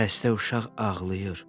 Xəstə uşaq ağlayır.